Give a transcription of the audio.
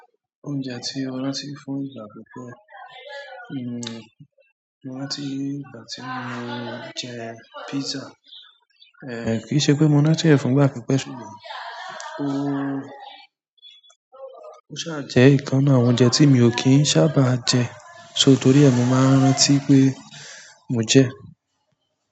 Oúnjẹ tí mo rántí fún ìgbà pípẹ́, mo rántí ìgbà tí mo jẹ pizza, kì í ṣe pé mo rántí rẹ̀ fún ìgbà pípẹ́ ṣùgbọ́n, ó ṣà jẹ́ ìkan nínú àwọn oúnjẹ tí mi ò kí ń sábà jẹ, só torí ẹ́ mo máa ń rántí pé mo jẹ.